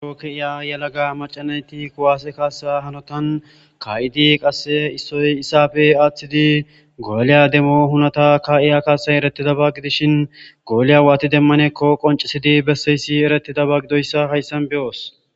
Buro ke'iya yelagga macca nayiti kuwase kasa hannottan Ka'idi qase issoy issappe aththidi golliya demmo hunnatta ka'iyo kassay eretidabba giddishin golliya watti demmanakko qonccisidi besiyayiss erettidaba gididayisa hayssan be'oos.